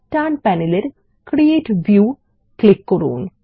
ডান প্যানেলের create view click করুন